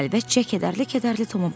Xəlvət-xəlvət Tomu baxdı.